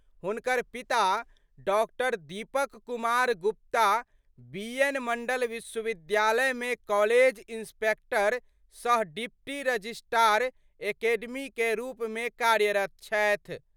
हुनक पिता डॉ. दीपक कुमार गुप्ता बीएन मंडल विश्वविद्यालय मे कॉलेज इंस्पेक्टर सह डिप्टी रजिस्ट्रार एकेडमी कए रूप मे कार्यरत छथि।